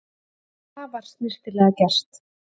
Afar snyrtilega gert